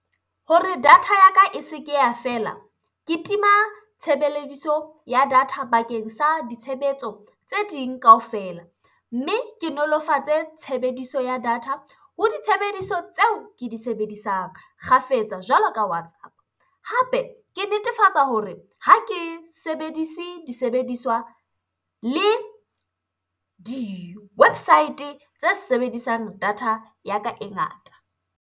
Hore data ya ka e se ke ya fela, ke tima tshebelediso ya data bakeng sa ditshebetso tse ding kaofela. Mme ke nolofatse tshebediso ya data ho ditshebediso tseo ke di sebedisang kgafetsa jwalo ka WhatsApp. Hape ke netefatsa hore ha ke sebedise disebediswa le di-website tse sebedisang data ya ka e ngata.